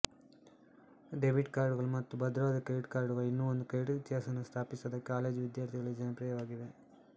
debit ಕಾರ್ಡುಗಳು ಮತ್ತು ಭದ್ರವಾದ ಕ್ರೆಡಿಟ್ ಕಾರ್ಡುಗಳು ಇನ್ನೂ ಒಂದು ಕ್ರೆಡಿಟ್ ಇತಿಹಾಸವನ್ನು ಸ್ಥಾಪಿಸದ ಕಾಲೇಜು ವಿದ್ಯಾರ್ಥಿಗಳಲ್ಲಿ ಜನಪ್ರಿಯವಾಗಿವೆ